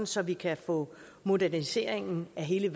så vi kan få moderniseringen af hele